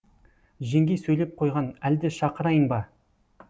жеңгей сөйлеп қойған әлде шақырайын ба